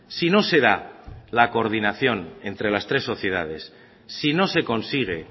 si no se da la coordinación entre las tres sociedades si no se consigue